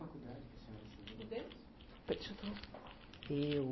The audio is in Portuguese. Qual a faculdade que a senhora estudou? Eu